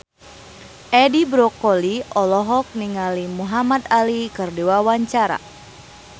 Edi Brokoli olohok ningali Muhamad Ali keur diwawancara